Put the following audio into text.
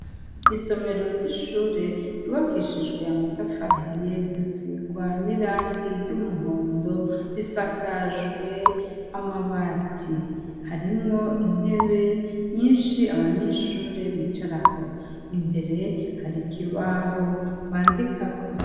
Isomero ry'ishure yubakishijwe amatafarahiye igasirwa n'irangi ry'umuhondo risakajwe amabati harimwo intebe nyinshi abanyeshure bicarako impere hari ikibaho bandikako.